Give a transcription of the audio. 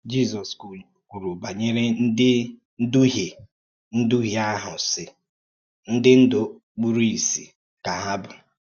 Jisọs kwùrù bànyèrè ǹdí n’dùhìè n’dùhìè ahụ̀, sì: “Ǹdí ndú kpùrù ìsì ka hà bụ́.